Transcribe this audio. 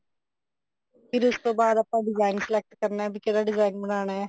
ਫ਼ੇਰ ਉਸ ਤੋਂ ਬਾਅਦ ਆਪਾਂ design select ਕਰਨਾ ਵੀ ਕਿਹੜਾ design ਬਣਾਉਣਾ